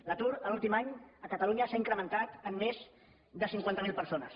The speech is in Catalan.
l’atur l’últim any a catalunya s’ha incrementat en més de cinquanta mil persones